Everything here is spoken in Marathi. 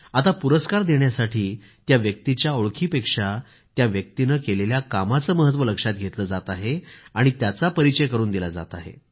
आता पुरस्कार देण्यासाठी त्या व्यक्तीच्या ओळखीपेक्षा त्या व्यक्तीने केलेल्या कामाचं महत्व लक्षात घेतलं जात आहे आणि त्याचा परिचय करून दिला जात आहे